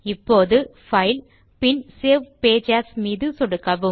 இப்போது பைல் பின் save page as மீது சொடுக்குக